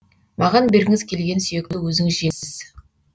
маған бергіңіз келген сүйекті өзіңіз жеңіз